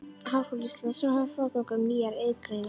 Háskóla Íslands, sem hafði forgöngu um nýjar iðngreinar.